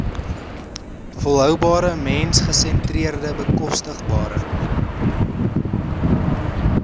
volhoubare mensgesentreerde bekostigbare